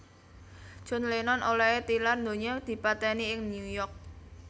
John Lennon olèhé tilar donya dipatèni ing New York